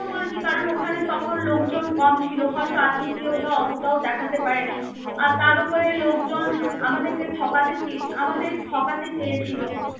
কথা বলছি কারণ ওখানে তখন লোকজন কম ছিল, হয়ত আতিথিয়তা ওতটাও দেখাতে পারেনি. আর তার উপরে লোকজন আমাদেরকে ঠকাতে চে~ আমাদের ঠকাতে চেয়েছিল.